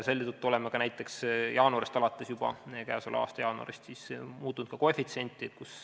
Selle tõttu oleme näiteks k.a jaanuarist alates muutnud ka koefitsienti.